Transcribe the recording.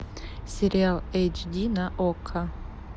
сериал эйчди на окко